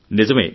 నిజమే